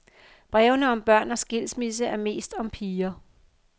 Brevene om børn og skilsmisse er mest om piger.